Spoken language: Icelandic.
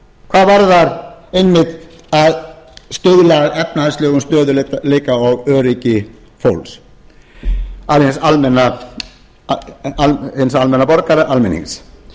hvað varðar einmitt að stuðla að efnahagslegum stöðugleika og öryggi fólks hins almenna borgara almennings